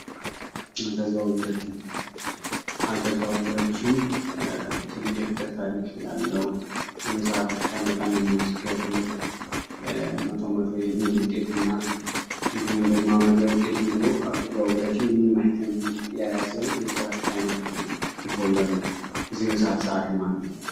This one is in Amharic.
አልተዛወረች አልተዛወረችም ትልቅ የፍቅር ታሪክ ያለው በጣም የሚያስገርም ቶ መቶ የሚል ውጤትና የያዘችና አልተዘዋወረችም የሚል ሁፍ የያዘው የመጽሐፍ ሽፋን ነው የዚህ መጽሐፍ ፀሐፊ ማነው?